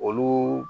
Olu